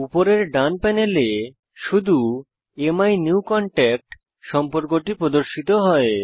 উপরের ডান প্যানেলে শুধু অ্যামিনিউকনট্যাক্ট সম্পর্কটি প্রদর্শিত হয়